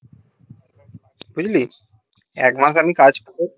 বুঝলি এক মাস আমি কাজ করে